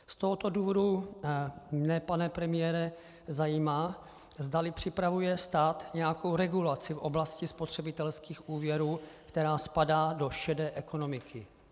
Z tohoto důvodu mě, pane premiére, zajímá, zdali připravuje stát nějakou regulaci v oblasti spotřebitelských úvěrů, která spadá do šedé ekonomiky.